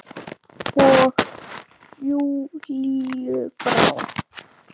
Og Júlíu brá.